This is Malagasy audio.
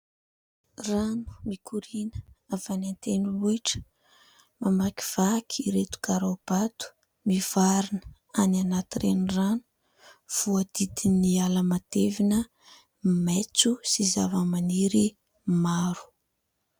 Rano mikoriana avy any an-tendrombohitra, mamakivaky ireto karaobato, mivarina any anaty renirano, voadidin'ny ala matevina maitso sy zava-maniry maro.